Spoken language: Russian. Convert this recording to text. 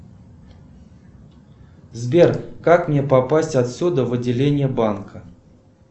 сбер как мне попасть отсюда в отделение банка